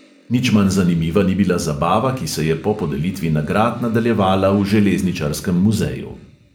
Nič manj zanimiva ni bila zabava, ki se je po podelitvi nagrad nadaljevala v železničarskem muzeju.